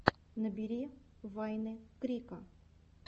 набери вайны крика